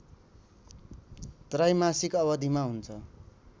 त्रैमासिक अवधिमा हुन्छ